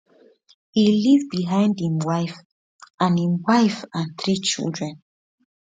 e leave behind imwife and imwife and three children